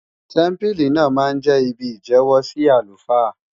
Tẹ́mpílì náà máa jẹ́ ibi ìjẹ́wọ́ sí àlùfáà